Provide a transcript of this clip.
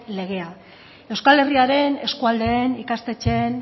legea euskal herriaren eskualdeen ikastetxeen